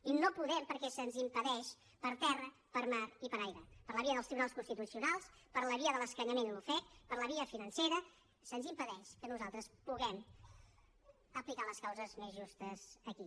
i no podem perquè se’ns impedeix per terra per mar i per aire per la via dels tribunals constitucionals per la via de l’escanyament i l’ofec per la via financera se’ns impedeix que nosaltres puguem aplicar les causes més justes aquí